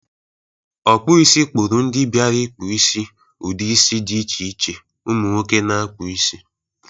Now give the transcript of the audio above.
Ọkpọisi kpọrụ ndị biara ịkpụ isi ụdị isi dị iche iche umụ nwoke na-akpụ isi.